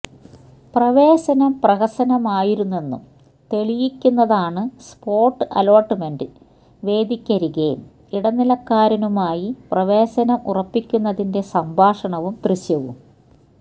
പ്രവേശനം പ്രഹസനമായിരുന്നെന്നു തെളിയിക്കുന്നതാണ് സ്പോട്ട് അലോട്മെന്റ് വേദിക്കരികെ ഇടനിലക്കാരനുമായി പ്രവേശനം ഉറപ്പിക്കുന്നതിന്റെ സംഭാഷണവും ദൃശ്യവും